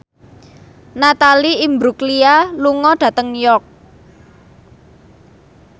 Natalie Imbruglia lunga dhateng York